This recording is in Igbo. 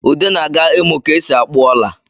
Ude na-aga imụ ka e si akpụ ọla